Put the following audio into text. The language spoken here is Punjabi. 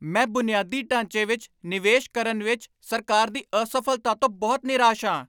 ਮੈਂ ਬੁਨਿਆਦੀ ਢਾਂਚੇ ਵਿੱਚ ਨਿਵੇਸ਼ ਕਰਨ ਵਿੱਚ ਸਰਕਾਰ ਦੀ ਅਸਫ਼ਲਤਾ ਤੋਂ ਬਹੁਤ ਨਿਰਾਸ਼ ਹਾਂ।